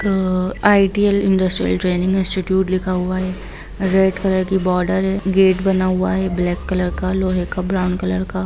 अ ITL. Industrial training institute लिखा हुआ है रेड कलर की बार्डर है गेट बना हुआ है ब्लैक कलर का लोहै का ब्राउन कलर का।